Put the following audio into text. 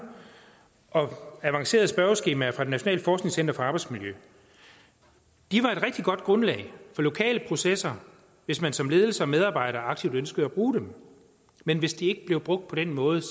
og avancerede spørgeskemaer fra det nationale forskningscenter for arbejdsmiljø de var et rigtig godt grundlag for lokale processer hvis man som ledelse og medarbejder aktivt ønskede at bruge dem men hvis de ikke blev brugt på den måde